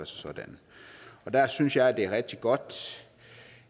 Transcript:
sådan der synes jeg det er rigtig godt